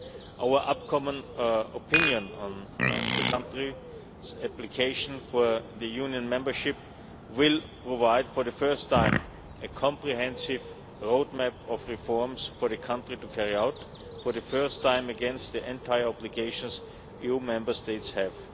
Our upcoming Opinion on the country's application for Union membership will provide for the first time a comprehensive roadmap of reforms for the country to carry out, for the first time against the entire obligations EU Member States have.